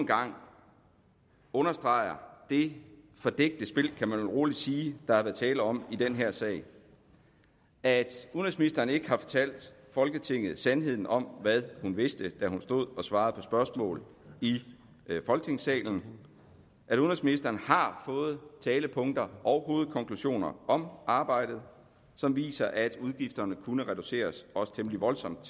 gang understreger det fordækte spil kan man vel roligt sige der har været tale om i den her sag at udenrigsministeren ikke fortalte folketinget sandheden om hvad hun vidste da hun stod og svarede på spørgsmål i folketingssalen at udenrigsministeren har fået talepunkter og hovedkonklusioner om arbejdet som viser at udgifterne kunne reduceres også temmelig voldsomt